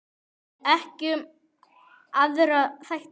Ekki um aðra þætti.